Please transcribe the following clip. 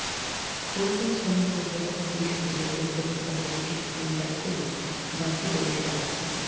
পরিযায়ী শ্রমিকদের ফেরাতে দেশ জুড়ে রেল কর্তৃপক্ষ বিশেষ ট্রেন চালু করলেও যাত্রী পরিষেবা আস্তে